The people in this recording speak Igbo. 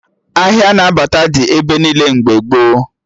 Ahịa na bata dị ebe niile mgbe gboo